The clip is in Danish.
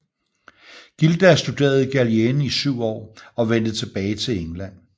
Gildas studerede i Gallien i syv år og vendte tilbage til England